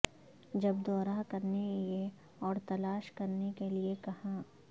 جب دورہ کرنے یہ اور تلاش کرنے کے لئے کہاں